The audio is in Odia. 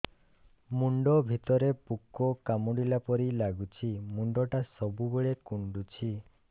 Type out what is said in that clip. ମୁଣ୍ଡ ଭିତରେ ପୁକ କାମୁଡ଼ିଲା ପରି ଲାଗୁଛି ମୁଣ୍ଡ ଟା ସବୁବେଳେ କୁଣ୍ଡୁଚି